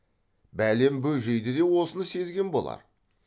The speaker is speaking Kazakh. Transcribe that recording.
бәлем бөжейді де осыны сезген болар